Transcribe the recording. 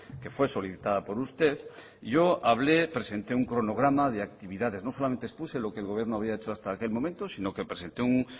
que fue solicitada por usted yo hablé presenté un cronograma de actividades no solamente expuse lo que el gobierno había hecho hasta aquel momento sino que presente un